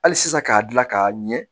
Hali sisan k'a dilan k'a ɲɛ